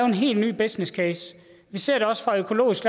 helt ny businesscase vi ser det også fra økologisk